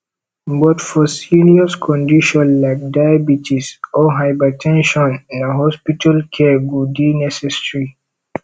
but for serious condition like diabites or hyber ten sion na hospital care go dey necessary